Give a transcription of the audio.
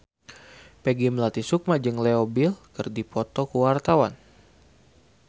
Peggy Melati Sukma jeung Leo Bill keur dipoto ku wartawan